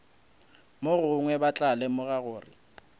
mogongwe ba tla lemoga gore